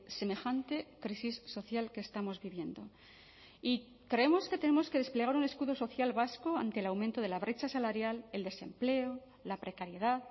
semejante crisis social que estamos viviendo y creemos que tenemos que desplegar un escudo social vasco ante el aumento de la brecha salarial el desempleo la precariedad